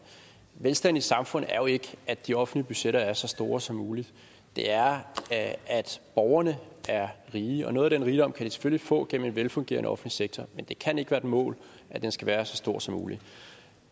velstand i samfundet er jo ikke at de offentlige budgetter er så store som muligt det er at borgerne er rige og noget af den rigdom kan de selvfølgelig få gennem en velfungerende offentlig sektor men det kan ikke være mål at den skal være så stor som muligt